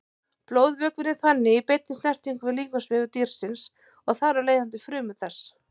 Blóðvökvinn er þannig í beinni snertingu við líkamsvefi dýrsins og þar af leiðandi frumur þess.